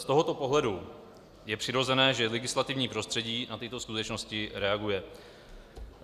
Z tohoto pohledu je přirozené, že legislativní prostředí na tyto skutečnosti reaguje.